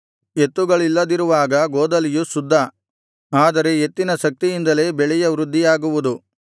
ಎತ್ತುಗಳಿಲ್ಲದಿರುವಾಗ ಗೋದಲಿಯು ಶುದ್ಧ ಆದರೆ ಎತ್ತಿನ ಶಕ್ತಿಯಿಂದಲೇ ಬೆಳೆಯ ವೃದ್ಧಿಯಾಗುವುದು